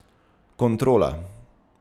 Kontrola.